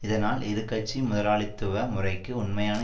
இதனால் இருகட்சி முதலாளித்துவ முறைக்கு உண்மையான